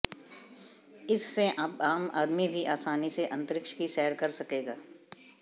इससे अब आम आदमी भी आसानी से अंतरिक्ष की सैर कर सकेगा